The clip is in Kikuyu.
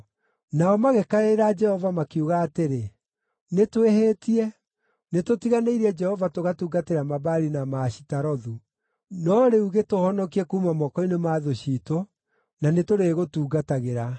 Nao magĩkaĩra Jehova makiuga atĩrĩ, ‘Nĩtwĩhĩtie; nĩtũtiganĩirie Jehova tũgatungatĩra Mabaali na Maashitarothu. No rĩu gĩtũhonokie kuuma moko-inĩ ma thũ ciitũ, na nĩtũrĩgũtungatagĩra.’